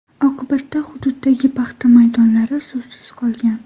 Oqibatda hududdagi paxta maydonlari suvsiz qolgan.